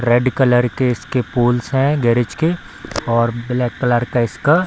red colour के इसके poles हैं गैरेज के और ब्लैक कलर का इसका --